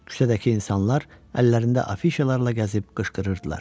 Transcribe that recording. Küçədəki insanlar əllərində afişalarla gəzib qışqırırdılar.